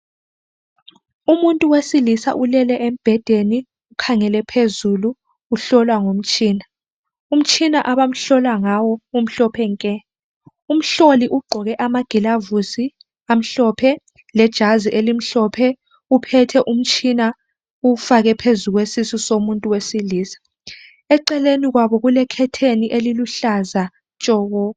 umuntu wesilisa ulele emubhedeni ukhangele phezulu uhlolwa ngomtshina umtshina abamhlolangawo umhlophe nke umhloli ugqoke amagulavusi amhlophe lejazi elimhlophe uphethe umtshina umufake phezulu komuntu wesilisa eceleni kwabo kule khetheni elibuhleza tshoko